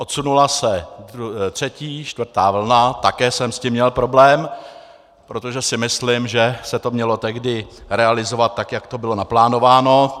Odsunula se třetí, čtvrtá vlna, také jsem s tím měl problém, protože si myslím, že se to mělo tehdy realizovat tak, jak to bylo naplánováno.